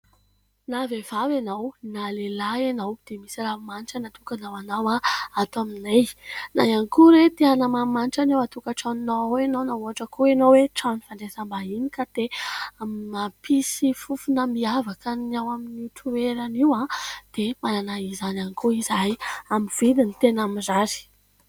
Na vehivavy ianao na lehilahy ianao dia misy ranomanitra natokana ho anao ato aminay. Na ihany koa hoe te hanamanimanitra ny ao an-tokantranonao ao ianao ; na ohatra koa ianao hoe trano fandraisam-bahiny ka te hampisy fofona miavaka ny ao amin'ny toerana io dia manana izany ihany koa izahay amin'ny vidiny tena mirary.